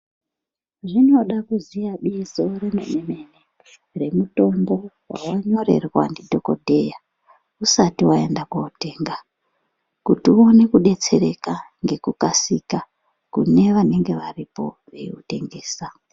Zvinoda kuziya bizo remene mene nemutombo wawanyorerwa ndidhokodheya usati waenda kotenga kuti uende kotenga nekukasika kune vanenge varipo veitengesa.